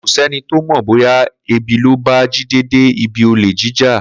Kò sé̩ni tó mò̩ bóyá ebi ló bá Jídé dé ibi olè jíjà